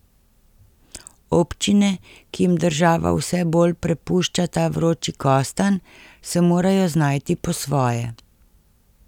Občine, ki jim država vse bolj prepušča ta vroči kostanj, se morajo znajti po svoje.